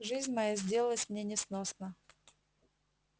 жизнь моя сделалась мне несносна